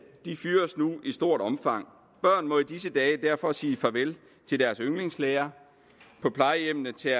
fyres nu i stort omfang børn må i disse dage derfor sige farvel til deres yndlingslærer på plejehjemmene tager